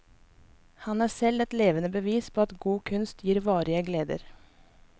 Han er selv et levende bevis på at god kunst gir varige gleder.